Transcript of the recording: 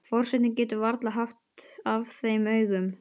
Forsetinn getur varla haft af þeim augun.